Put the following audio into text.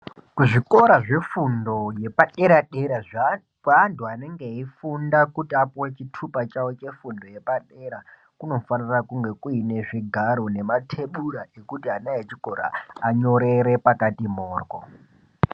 Kuzvikora zvefundo yepadera dera kwevantu vanenge vachifunda kuti vapuwe chitupa chawo chepadera kunofanira kunge Kuine zvigaro nematebhura ekuti vana vechikora vanyorere pakati moryo.